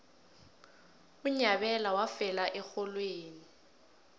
unyabela wafela erholweni